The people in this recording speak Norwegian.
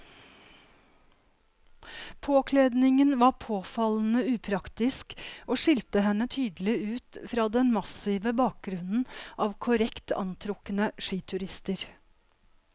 Påkledningen var påfallende upraktisk og skilte henne tydelig ut fra den massive bakgrunnen av korrekt antrukne skiturister.